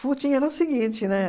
era o seguinte, né?